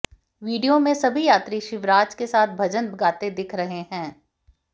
video में सभी यात्री शिवराज के साथ भजन गाते दिख रहे हैं